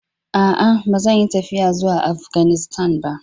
A'a, ba zan yi tafiya zuwa Afganistan ba.